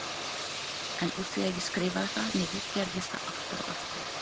En úr því að ég skrifaði það niður gerist það aftur og aftur!